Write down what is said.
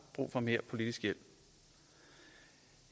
brug for mere politisk hjælp